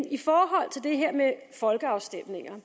i forhold til det her med folkeafstemninger